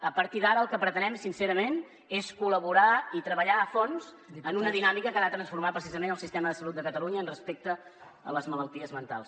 a partir d’ara el que pretenem sincerament és col·laborar i treballar a fons en una dinàmica que ha de transformar precisament el sistema de salut de catalunya respecte a les malalties mentals